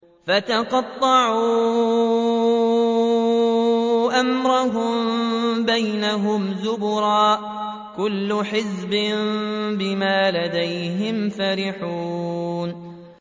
فَتَقَطَّعُوا أَمْرَهُم بَيْنَهُمْ زُبُرًا ۖ كُلُّ حِزْبٍ بِمَا لَدَيْهِمْ فَرِحُونَ